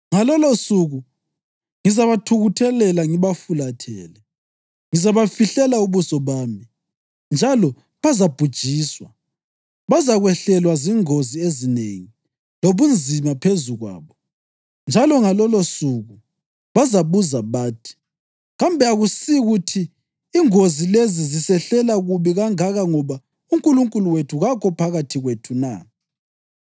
Ngalolosuku ngizabathukuthelela ngibafulathele; ngizabafihlela ubuso bami, njalo bazabhujiswa. Bazakwehlelwa zingozi ezinengi lobunzima phezu kwabo, njalo ngalolosuku bazabuza bathi: ‘Kambe akusikuthi ingozi lezi zisehlela kubi kangaka ngoba uNkulunkulu wethu kakho phakathi kwethu na?’